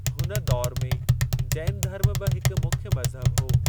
हुन दौरु में जैन धर्म बि हिकु मुख्य मज़हबु हो।